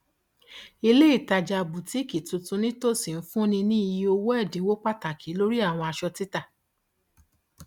ilé ìtajà bútíkì tuntun nítòsí ń fúnni ní ìye owó ẹdínwó pàtàkì lórí àwọn aṣọ títà